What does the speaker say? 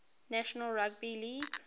national rugby league